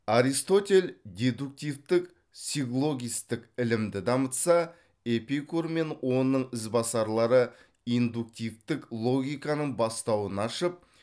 аристотель дедуктивтік силлогистік ілімді дамытса эпикур мен оның ізбасарлары индуктивтік логиканың бастауын ашып